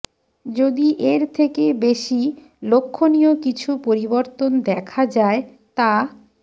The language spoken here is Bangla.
যদি এর থেকে বেশি লক্ষণীয় কিছু পরিবর্তন দেখা যায় তা